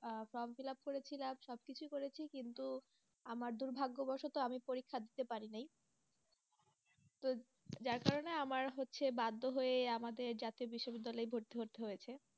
আহ form fill up করেছিলাম, সবকিছুই করেছি, কিন্তু আমার দুর্ভাগ্যবশত আমি পরীক্ষা দিতে পারি নাই তো যার কারণে আমার হচ্ছে বাধ্য হয়ে আমাকে জাতীয় বিশ্ববিদ্যালয়ে ভর্তি হতে হয়েছে।